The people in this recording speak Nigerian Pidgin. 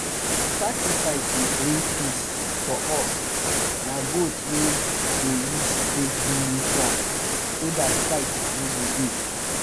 sacrifice dey bring peace for us na goat we dey use take do rituals so dat fight no go dey.